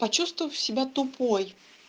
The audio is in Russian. почувствовав себя тупой